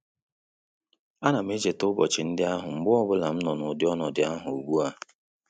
A nam echeta ụbọchị ndị ahụ mgbe ọbụla m nọ na ụdị ọnọdụ ahu ugbua